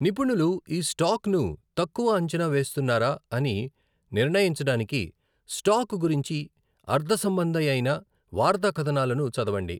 నిపుణులు ఈ స్టాక్ను తక్కువ అంచనా వేస్తున్నారా అని నిర్ణయించడానికి స్టాక్ గురించి అర్థసంబంధియైన వార్తా కథనాలను చదవండి.